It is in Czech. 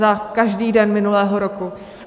Za každý den minulého roku.